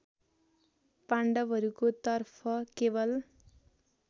पाण्डवहरूको तर्फ केवल